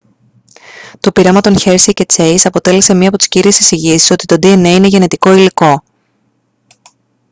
το πείραμα των hersey και chase αποτέλεσε μια από τις κύριες εισηγήσεις ότι το dna είναι γενετικό υλικό